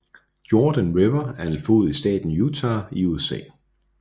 Jordan River er en flod i staten Utah i USA